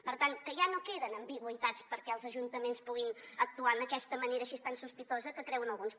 per tant que ja no queden ambigüitats perquè els ajuntaments puguin actuar d’aquesta manera així tan sospitosa que creuen alguns